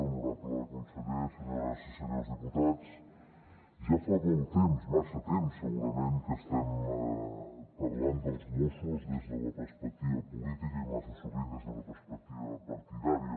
honorable conseller senyores i senyors diputats ja fa molt temps massa temps segurament que estem parlant dels mossos des de la perspectiva política i massa sovint des d’una perspectiva partidària